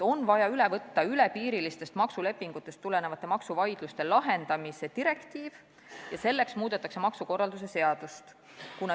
On vaja üle võtta piiriülestest maksulepingutest tulenevate maksuvaidluste lahendamise direktiiv ja selleks muudetakse maksukorralduse seadust.